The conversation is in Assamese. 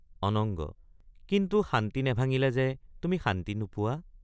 অনঙ্গ—কিন্তু শান্তি নেভাঙিলে যে তুমি শান্তি নোপোৱা।